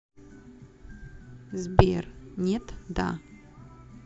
сбер нет да